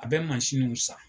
A bɛ mansin nun san.